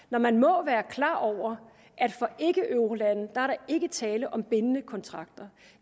når man må være klar over at for ikkeeurolande er ikke tale om bindende kontrakter